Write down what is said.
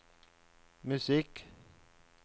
musikk